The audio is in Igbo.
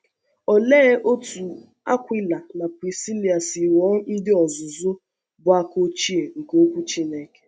Ólee otú Akwịla na Prisíla si ghọọ ndị ọ̀zụ̀zụ bụ́ àka ochie nke Ọ̀kwú Chí́nèke?